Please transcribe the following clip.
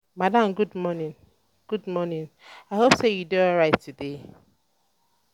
madam good morning. um good morning. um i hope say you dey alright today